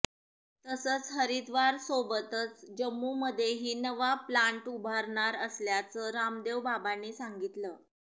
तसंच हरिद्वारसोबतच जम्मूमध्येही नवा प्लान्ट उभारणार असल्याचं रामदेव बाबांनी सांगितलं